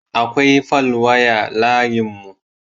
Akwai falwaya layinmu.